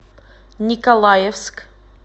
николаевск